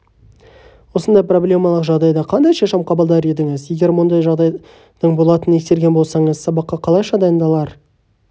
осындай проблемалық жағдайда қандай шешім қабылдар едіңіз егер мұндай жағдайдың болатынын ескерген болсаңыз сабаққа қалайша дайындалар